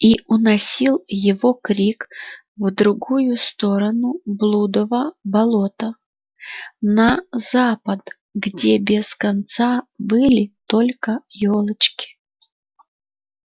и уносил его крик в другую сторону блудова болота на запад где без конца были только ёлочки